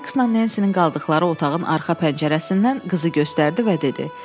Sayksla Nensinin qaldıqları otağın arxa pəncərəsindən qızı göstərdi və dedi: